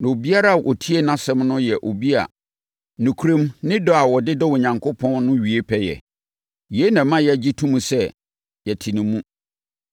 Na obiara a ɔtie nʼAsɛm no yɛ obi a nokorɛm, ne dɔ a ɔde dɔ Onyankopɔn no wie pɛ yɛ. Yei na ɛma yɛgye to mu sɛ yɛte ne mu.